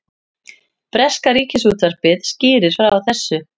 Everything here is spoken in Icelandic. Breska ríkisútvarpið skýrir frá þessu